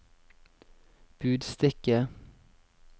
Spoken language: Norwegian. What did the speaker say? budstikke